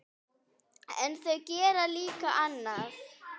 En þau gerðu líka annað.